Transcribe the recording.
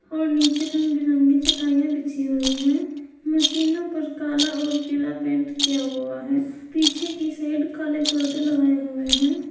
और नीचे रंग बिरंगी चटाइयां बिछी हुई हैं मशीनों पर काला और पीला पेंट किया हुआ है पीछे की साइड काले पर्दे लगाए हुए हैं।